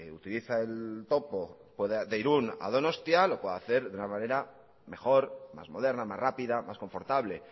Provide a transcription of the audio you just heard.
utiliza el topo de irún a donostia lo puede hacer de una manera mejor más moderna más rápida más confortable